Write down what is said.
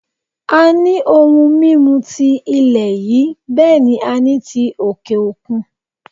A ní ohun mímu ti ilẹ̀ yìí bẹ́ẹ̀ ni a ní ti òkè òkun